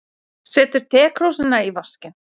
Setur tekrúsina í vaskinn.